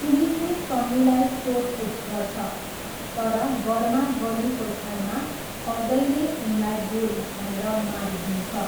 पुलिसले सन्नीलाई सोधपुछ गर्छ, तर गर्मागर्मीको क्षणमा अजयले उनलाई गोली हानेर मारिदिन्छ।